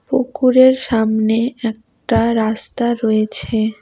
পুকুরের সামনে একটা রাস্তা রয়েছে।